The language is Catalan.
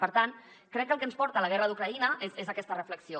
per tant crec que el que ens porta la guerra d’ucraïna és aquesta reflexió